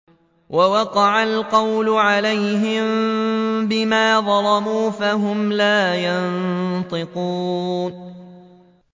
وَوَقَعَ الْقَوْلُ عَلَيْهِم بِمَا ظَلَمُوا فَهُمْ لَا يَنطِقُونَ